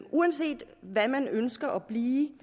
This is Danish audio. uanset hvad man ønsker at blive